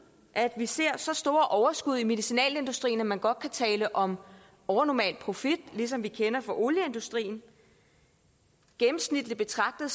at vi ser så store overskud i medicinalindustrien at man godt kan tale om overnormal profit ligesom vi kender fra olieindustrien gennemsnitligt betragtet